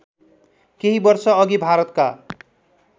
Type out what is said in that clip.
केही वर्षअघि भारतका